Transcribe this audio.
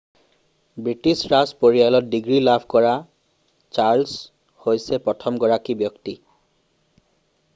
British ৰাজ পৰিয়ালত degree লাভ কৰা চাৰ্লছ হৈছে প্ৰথমগৰাকী ব্যক্তি